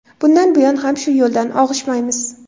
Bundan buyon ham shu yo‘ldan og‘ishmaymiz.